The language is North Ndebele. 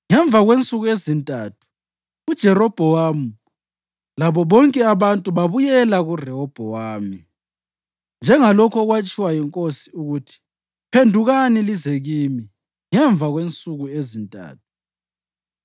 Ngemva kwensuku ezintathu uJerobhowamu labo bonke abantu babuyela kuRehobhowami, njengalokho okwakutshiwo yinkosi ukuthi, “Phendukani lize kimi ngemva kwensuku ezintathu.”